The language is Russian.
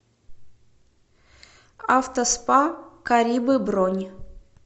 авто спа карибы бронь